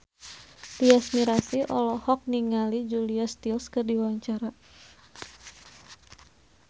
Tyas Mirasih olohok ningali Julia Stiles keur diwawancara